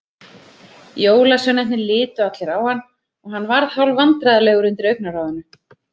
Jólasveinarnir litu allir á hann og hann varð hálfvandræðalegur undir augnaráðinu.